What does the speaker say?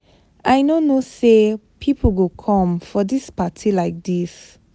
I no know say people go come for dis party like dis.